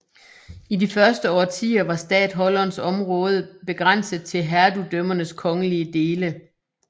I de første årtier var statholderens område begrænset til hertugdømmernes kongelige dele